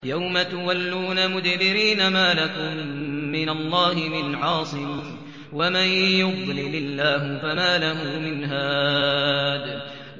يَوْمَ تُوَلُّونَ مُدْبِرِينَ مَا لَكُم مِّنَ اللَّهِ مِنْ عَاصِمٍ ۗ وَمَن يُضْلِلِ اللَّهُ فَمَا لَهُ مِنْ هَادٍ